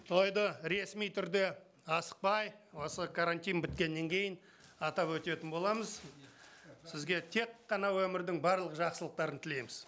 тойды ресми түрде асықпай осы карантин біткеннен кейін атап өтетін боламыз сізге тек қана өмірдің барлық жақсылықтарын тілейміз